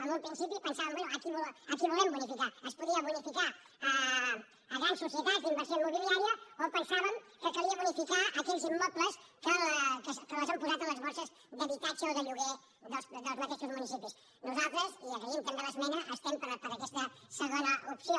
en un principi pensàvem bé a qui volem bonificar es podien bonificar grans societats d’inversió immobiliària o pensàvem que calia bonificar aquells immobles que els han posat a les borses d’habitatge o de lloguer dels mateixos municipis nosaltres i agraïm també l’esmena estem per aquesta segona opció